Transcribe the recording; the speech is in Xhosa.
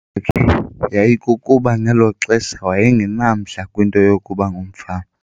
yayikukuba ngelo xesha waye ngenamdla kwinto yokuba ngumfama.